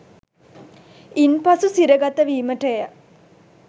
ඉන්පසු සිරගත වීමටය